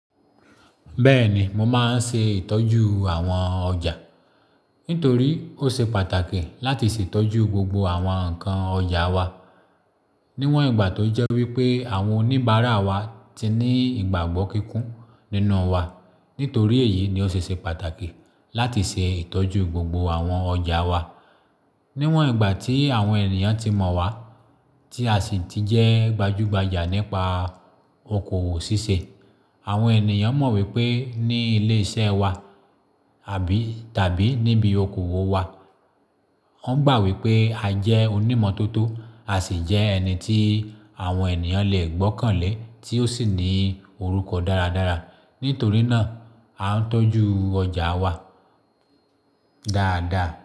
Bẹ́ẹ̀ni, mo máa ń ṣe ìtọ́jú àwọn ọjà. Nítorí ó ṣe pàtàkì láti ṣè itọ́jú gbogbo àwọn ǹkan ọjà wa. Níwọn ìgbà tó jẹ́ wípé àwọn oníbàárà wa ti ní ìgbàgbọ́ kíkún nínú wa. Nítorí èyí ni ó ṣe ṣe pàtàkì láti ṣe ìtọ́jú gbogbo àwọn ọjà wa. Níwọn ìgbà tí àwọn ènìyàn ti mọ̀ wa, tí a sì ti jẹ́ gbajúgbajà nípa okoòwò ṣíṣe. Àwọn ènìyàn mọ̀ wípé ní ilé iṣẹ́ wa àbí tàbí níbi okoòwò wa. Wọ́n gbà wípé a jẹ́ onímọ̀ tó tó, a sì jẹ́ ẹni tí àwọn ènìyàn lè gbọ́kànlé tí ó sì ní orúkọ dáradára. Nítorí náà, a ń tọ́jú ọjà wa dáadáa.